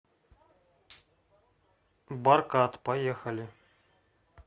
баркад поехали